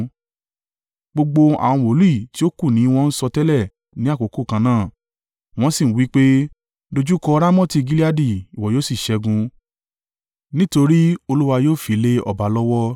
Gbogbo àwọn wòlíì tí ó kù ni wọn ń sọtẹ́lẹ̀ ní àkókò kan náà. Wọ́n sì wí pé, “Dojúkọ Ramoti Gileadi ìwọ yóò sì ṣẹ́gun, nítorí Olúwa yóò fi lé ọba lọ́wọ́.”